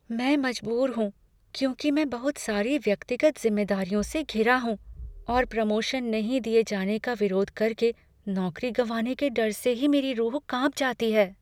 मैं मजबूर हूँ, क्योंकि मैं बहुत सारी व्यक्तिगत ज़िम्मेदारियों से घिरा हूँ और प्रमोशन नहीं दिए जाने का विरोध करके नौकरी गंवाने के डर से ही मेरी रूह कांप जाती है।